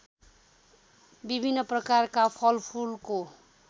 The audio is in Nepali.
विभिन्न प्रकारका फलफुलको